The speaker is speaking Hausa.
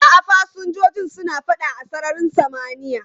A'a, fasinjojin suna fada a sararin samaniya.